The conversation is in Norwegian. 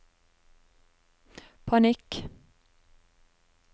panikk